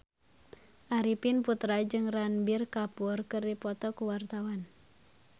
Arifin Putra jeung Ranbir Kapoor keur dipoto ku wartawan